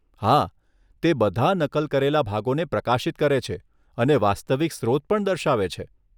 હા, તે બધા નકલ કરેલા ભાગોને પ્રકાશિત કરે છે અને વાસ્તવિક સ્રોત પણ દર્શાવે છે